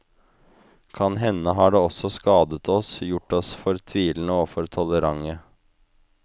Kan hende har det også skadet oss, gjort oss for tvilende og for tolerante.